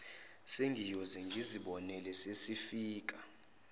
sengiyoze ngizibonele sesifika